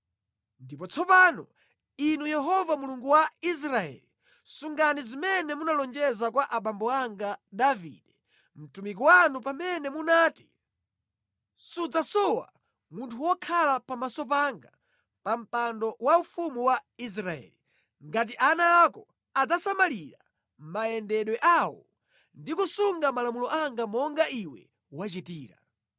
“Ndipo tsopano, Inu Yehova Mulungu wa Israeli, sungani zimene munalonjeza kwa abambo anga Davide, mtumiki wanu pamene munati, ‘Sudzasowa munthu wokhala pamaso panga pa mpando waufumu wa Israeli, ngati ana ako adzasamalira mayendedwe awo ndi kusunga malamulo anga monga iwe wachitira.’